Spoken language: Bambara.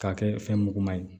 K'a kɛ fɛn muguma ye